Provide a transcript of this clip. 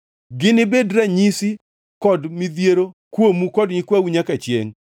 Ginibed ranyisi kod midhiero kuomu kod nyikwau nyaka chiengʼ.